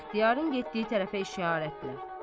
İxtiyarın getdiyi tərəfə işarətlər.